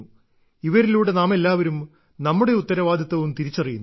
ഇവരിലൂടെ നാമെല്ലാവരും നമ്മുടെ ഉത്തരവാദിത്തവും തിരിച്ചറിയുന്നു